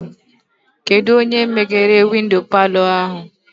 Kedụ onye meghere windo palọ ahụ?